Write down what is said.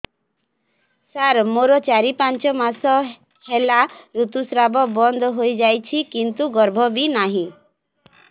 ସାର ମୋର ଚାରି ପାଞ୍ଚ ମାସ ହେଲା ଋତୁସ୍ରାବ ବନ୍ଦ ହେଇଯାଇଛି କିନ୍ତୁ ଗର୍ଭ ବି ନାହିଁ